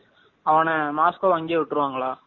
அவன மஸ்கொவ்வ அங்கையே விட்ருவாங்களா?